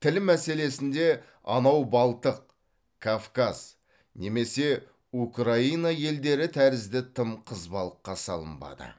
тіл мәселесінде анау балтық кавказ немесе украина елдері тәрізді тым қызбалыққа салынбады